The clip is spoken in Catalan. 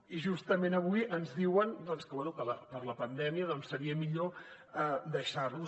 i justament avui ens diuen que bé que per la pandèmia doncs seria millor deixar ho